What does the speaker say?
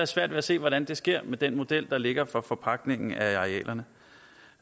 svært ved at se hvordan det sker med den model der ligger for forpagtningen af arealerne